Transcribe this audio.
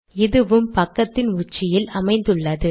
இதுவும் பக்கத்தின் உச்சியில் அமைந்துள்ளது